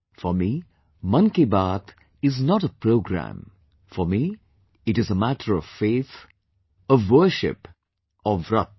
For me 'Mann Ki Baat' is not a program, for me it is a matter of faith, of worship, or Vrat